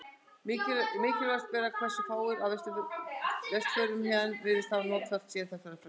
Merkilegast bara hversu fáir af vesturförunum héðan virðast hafa notfært sér þetta frelsi.